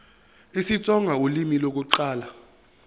isitsonga ulimi lokuqala